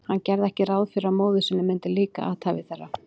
Hann gerði ekki ráð fyrir að móður sinni myndi líka athæfi þeirra.